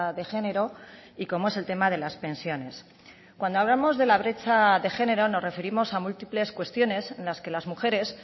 de género y como es el tema de las pensiones cuando hablamos de la brecha de género nos referimos a múltiples cuestiones en las que las mujeres